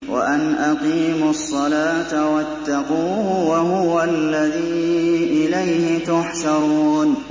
وَأَنْ أَقِيمُوا الصَّلَاةَ وَاتَّقُوهُ ۚ وَهُوَ الَّذِي إِلَيْهِ تُحْشَرُونَ